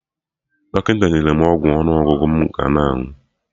Dọkịta nyere mụ ọgwụ ọnụ ọgụgụ mụ ga-aṅụ